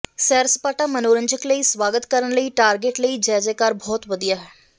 ਸੈਰਸਪਾਟਾ ਮਨੋਰੰਜਕ ਲਈ ਸਵਾਗਤ ਕਰਨ ਲਈ ਟਾਰਗੇਟ ਲਈ ਜੈ ਜੈ ਕਾਰ ਬਹੁਤ ਵਧੀਆ ਹੈ